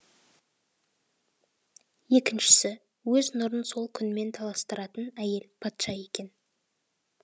екіншісі өз нұрын сол күнмен таластыратын әйел патша екен